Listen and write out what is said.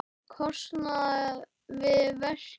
kostnað við verkið.